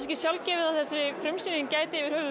ekki sjálfgefið að þessi frumsýning gæti